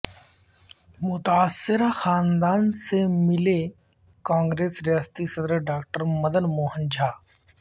متاثرہ خاندان سے ملے کانگریس ریاستی صدرڈاکٹرمدن موہن جھا